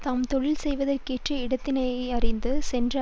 தாம் தொழில் செய்வதற்கேற்ற இடத்தினையறிந்து சென்ற